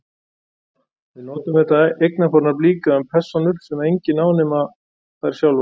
Við notum þetta eignarfornafn líka um persónur sem enginn á nema þær sjálfar.